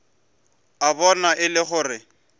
a bona e le gore